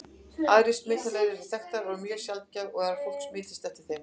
Aðrar smitleiðir eru þó þekktar, en mjög sjaldgæft er að fólk smitist eftir þeim.